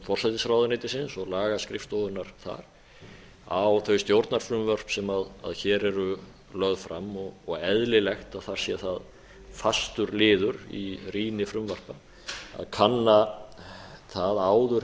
forsætisráðuneytisins og lagaskrifstofunnar þar á þau stjórnarfrumvörp sem hér eru lögð fram og eðlilegt að þar sé það fastur liður í rýni frumvarpa að kanna á áður